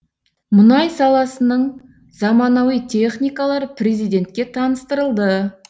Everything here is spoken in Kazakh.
мұнай саласының заманауи техникалары президентке таныстырылды